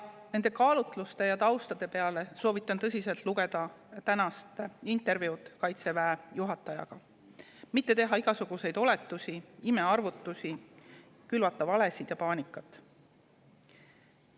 Neid kaalutlusi ja tausta soovitan tõsiselt lugeda tänast intervjuud Kaitseväe juhatajaga, mitte teha igasuguseid oletusi, imearvutusi, külvata valesid ja paanikat.